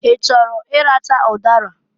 I chọrọ ịracha ụdara?